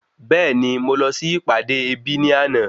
Bẹẹni, Mo lọ si ìpàdé ebi ni ana